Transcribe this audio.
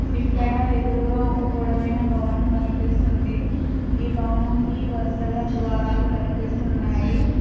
ఇక్కడ ఎదురుగా ఒక పొడవైన భవనం కనిపిస్తుంది ఈ భవనంకి వరుసగా ద్వారాలు కనిపిస్తున్నాయి.